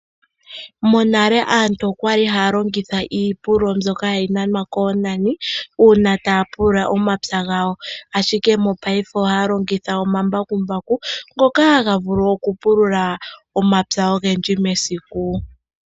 Monale aantu okwali haya longitha iipululo mbyoka hayi nanwa koonani uuna taya pulula omapya gawo, ashike mopaife ohaya longitha omambakumbaku ngoka haga vulu okupulula omapya ogendji mesiku.